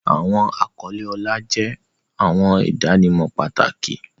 Awọn akọle ọlá jẹ awọn idanimọ pataki.